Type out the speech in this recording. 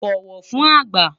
bọwọ fún àgbà